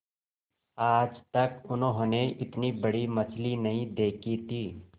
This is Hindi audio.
आज तक उन्होंने इतनी बड़ी मछली नहीं देखी थी